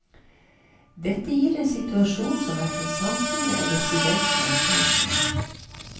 Dette gir en situasjon som hverken samfunnet eller studentene er tjent med.